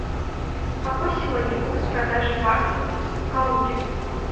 какой сегодня курс продажи баксов в калуге